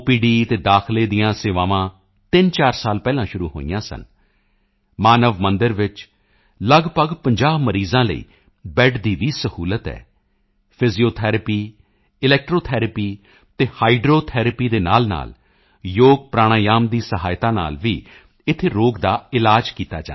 ਅਤੇ ਦਾਖਲੇ ਦੀਆਂ ਸੇਵਾਵਾਂ 34 ਸਾਲ ਪਹਿਲਾਂ ਸ਼ੁਰੂ ਹੋਈਆਂ ਸਨ ਮਾਨਵ ਮੰਦਿਰ ਵਿੱਚ ਲਗਭਗ 50 ਮਰੀਜ਼ਾਂ ਲਈ ਬੈੱਡ ਦੀ ਵੀ ਸਹੂਲਤ ਹੈ ਫਿਜ਼ੀਓਥਰੈਪੀ ਇਲੈਕਟ੍ਰੌ ਥਰੈਪੀ ਅਤੇ ਹਾਈਡ੍ਰੋ ਥਰੈਪੀ ਦੇ ਨਾਲਨਾਲ ਯੋਗ ਪ੍ਰਾਣਾਯਾਮ ਦੀ ਸਹਾਇਤਾ ਨਾਲ ਵੀ ਇੱਥੇ ਰੋਗ ਦਾ ਇਲਾਜ ਕੀਤਾ ਜਾਂਦਾ ਹੈ